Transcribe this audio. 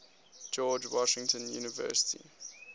george washington university